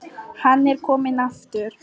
Hann er kominn aftur!